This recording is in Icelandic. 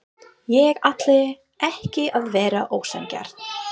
Ég ætlaði ekki að vera ósanngjarn.